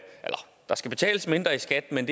der skal betales mindre i skat men